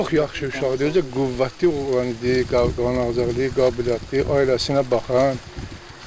Çox yaxşı uşaqdır, özü də qüvvətli olan idi, qanağız idi, qabiliyyətli, ailəsinə baxan.